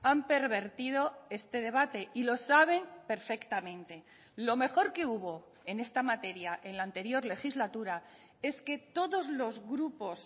han pervertido este debate y lo saben perfectamente lo mejor que hubo en esta materia en la anterior legislatura es que todos los grupos